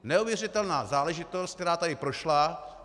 Neuvěřitelná záležitost, která tady prošla.